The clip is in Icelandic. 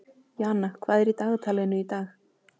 Jana, hvað er í dagatalinu í dag?